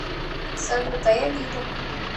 салют а я лида